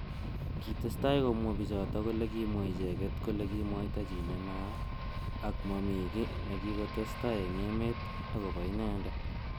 Kitestai komwa bichotok kole kimwa icheket kole kimwaita chi nenaat ak mami ki nekikotestai eng emet akobo inendet.